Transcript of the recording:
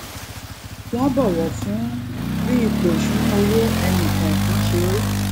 wón bọwọ fún bí ipò ìṣúnná owó ẹnì kòòkan ṣe rí